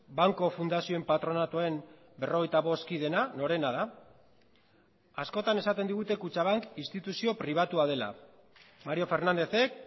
banku fundazioen patronatuen berrogeita bost kideena norena da askotan esaten digute kutxabank instituzio pribatua dela mario fernándezek